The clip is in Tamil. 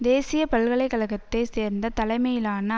தேசிய பல்கலை கழகத்தை சேர்ந்த தலைமையிலான